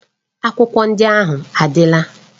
Akwụkwọ ndị ahụ adịla.